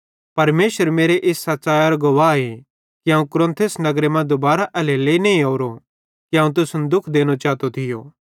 परमेशर मेरे इस सच़ैइयरो गवाहे कि अवं कुरिन्थुस नगरे मां दुबारां एल्हेरेलेइ नईं ओरोए कि अवं तुसन दुःख देनो चातो थियो